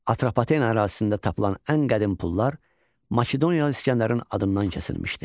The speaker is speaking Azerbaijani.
Atropatena ərazisində tapılan ən qədim pullar Makedoniyalı İsgəndərin adından kəsilmişdi.